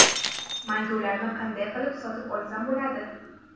Mangu ’larni qanday qilib sotib olsam bo‘ladi?